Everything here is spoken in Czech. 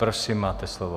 Prosím, máte slovo.